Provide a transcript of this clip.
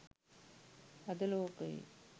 අද ලෝක‍යේ